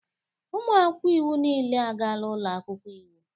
Ụmụ akwụkwọ iwu niile agaala ụlọ akwụkwọ iwu